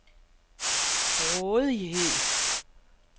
rådighed